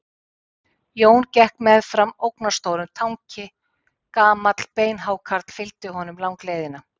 Jón gekk meðfram ógnarstórum tanki, gamall beinhákarl fylgdi honum langleiðina.